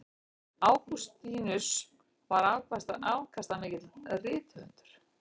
Ágústínus var afkastamikill rithöfundur.